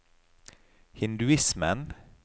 hinduismen